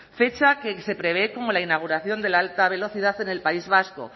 fecha que se prevé como la inauguración de la alta velocidad en el país vasco